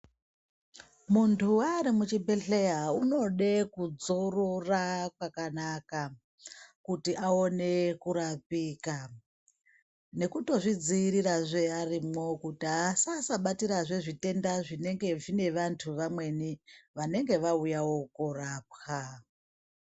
Munthu ari muchibhedhleya unode kudzorora kwakanaka kuti aone kurapika nekutozvidziirirazve arimwo kuti asasabatirazve zvitenda zvinenge zvine vanthu vamweni vanenge vauyawo koorapwa.